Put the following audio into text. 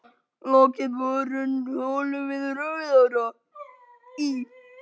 Lokið borun holu við Rauðará í